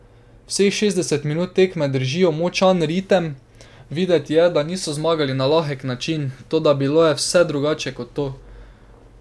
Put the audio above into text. Vseh šestdeset minut tekme držijo močan ritem, videti je, da smo zmagali na lahek način, toda bilo je vse drugače kot to.